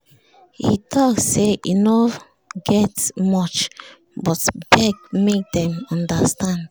he talk say e no get much and beg make dem understand